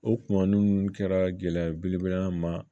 O kuma ninnu kɛra gɛlɛya belebele ma